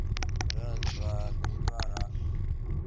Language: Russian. раз два три два раз